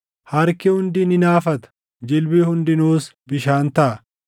Harki hundi ni naafata; jilbi hundinuus bishaan taʼa.